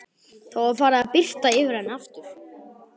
Það var farið að birta yfir henni aftur.